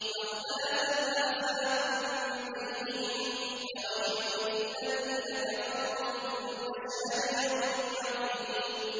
فَاخْتَلَفَ الْأَحْزَابُ مِن بَيْنِهِمْ ۖ فَوَيْلٌ لِّلَّذِينَ كَفَرُوا مِن مَّشْهَدِ يَوْمٍ عَظِيمٍ